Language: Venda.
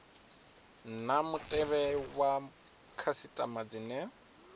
na mutevhe wa khasitama dzine